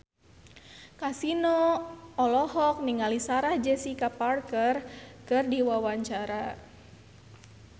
Kasino olohok ningali Sarah Jessica Parker keur diwawancara